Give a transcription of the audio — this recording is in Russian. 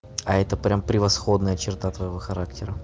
а это прямо превосходная черта твоего характера